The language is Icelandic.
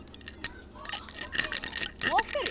Nú. af hverju?